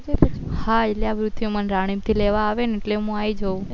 હા એટલે મણ રાણીપ થી લેવા આવે એટલે હું આવી જયુ